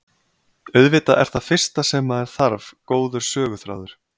Auðvitað er það fyrsta sem maður þarf góður söguþráður.